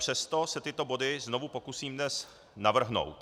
Přesto se tyto body znovu pokusím dnes navrhnout.